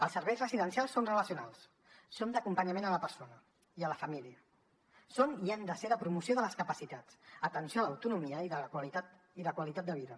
els serveis residencials són relacionals són d’acompanyament a la persona i a la família són i han de ser de promoció de les capacitats d’atenció a l’autonomia i de qualitat de vida